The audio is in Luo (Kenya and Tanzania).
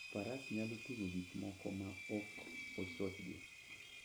faras nyalo ting'o gik moko maok ochochgi.